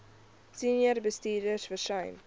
senior bestuurders versuim